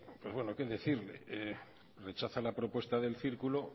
que decirle rechaza la propuesta del círculo